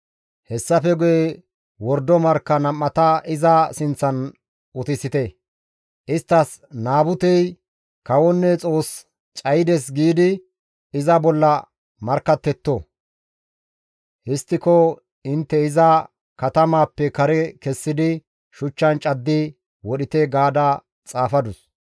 Hessafe guye wordo markka nam7ata iza sinththan utisite; isttas, ‹Naabutey kawonne Xoos cayides› giidi iza bolla markkattetto. Histtiko intte iza katamaappe kare kessidi shuchchan caddi wodhite» gaada xaafadus.